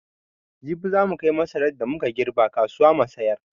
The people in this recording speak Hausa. Jibi za mu kai masaran da mu ka girbe kasuwa mu sayar.